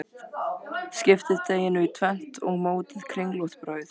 Skiptið deiginu í tvennt og mótið kringlótt brauð.